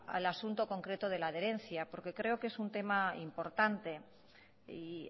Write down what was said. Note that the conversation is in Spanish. al asunto concreto de la adherencia porque creo que es un tema importante y